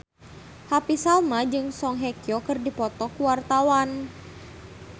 Happy Salma jeung Song Hye Kyo keur dipoto ku wartawan